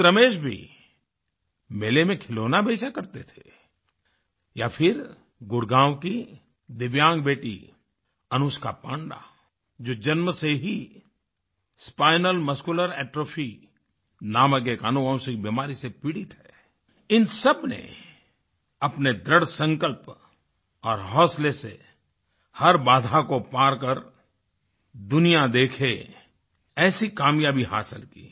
ख़ुद रमेश भी मेले में खिलौना बेचा करते थे या फिर गुडगाँव की दिव्यांग बेटी अनुष्का पांडा जो जन्म से ही स्पाइनल मस्कुलर एट्रोफी नामक एक आनुवांशिक बीमारी से पीड़ित है इन सबने अपने दृढसंकल्प और हौसले से हर बाधा को पार कर दुनिया देखे ऐसी कामयाबी हासिल की